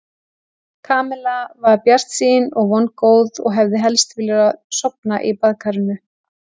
Kamilla var bjartsýn og vongóð og hefði helst vilja sofna í baðkarinu.